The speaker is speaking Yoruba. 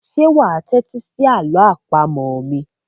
Ṣé wà á tẹ́tí sí àlọ́ àpamọ̀ mi?